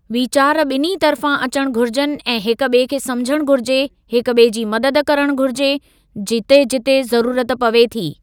वीचार ॿिन्ही तरफ़ां अचणु घुरिजनि ऐं हिकु ॿिएं खे समुझणु घुरिजे हिकु ॿिए जी मदद करणु घुरिजे जिते जिते ज़रूरत पवे थी।